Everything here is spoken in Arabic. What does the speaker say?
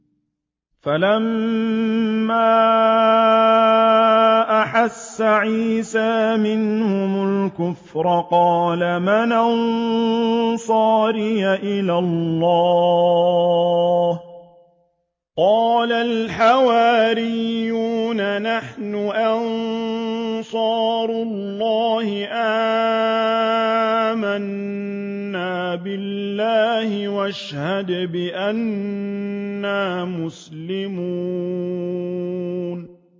۞ فَلَمَّا أَحَسَّ عِيسَىٰ مِنْهُمُ الْكُفْرَ قَالَ مَنْ أَنصَارِي إِلَى اللَّهِ ۖ قَالَ الْحَوَارِيُّونَ نَحْنُ أَنصَارُ اللَّهِ آمَنَّا بِاللَّهِ وَاشْهَدْ بِأَنَّا مُسْلِمُونَ